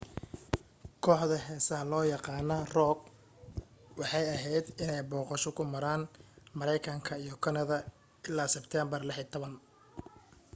kooxda heesaha loo yaqaana rock waxay ahayd inay u booqasho ku maran mareykanka iyo kanada ilaa sebteembar 16